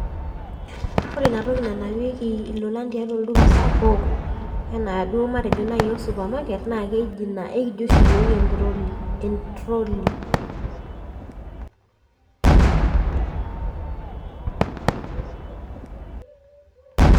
Ore inatoki nanapieki ilolan tiatua olduka sapuk enaaduo matejo nai supermarket, nakeji ina ekijo oshi yiok entroli. Entroli.